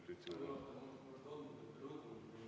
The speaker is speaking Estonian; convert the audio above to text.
Protseduuriline, Priit Sibul.